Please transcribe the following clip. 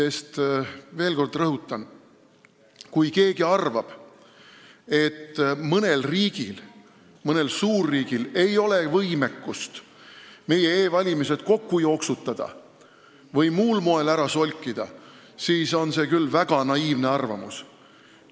Ma veel kord rõhutan: kui keegi arvab, et mõnel suurriigil ei ole võimekust meie e-valimist kokku jooksutada või muul moel ära solkida, siis on see küll väga naiivne arvamus.